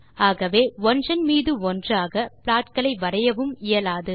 ஆகவே ஒன்றன் மீதொன்றாக ப்லாட்களை வரையவும் இயலாது